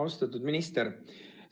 Austatud minister!